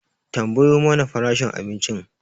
Tambayo mana farashin abincin